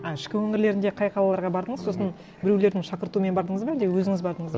а ішкі өңірлерінде қай қалаларға бардыңыз сосын біреулердің шақыртуымен бардыңыз ба әлде өзіңіз бардыңыз